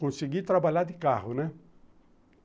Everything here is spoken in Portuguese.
Consegui trabalhar de carro, né?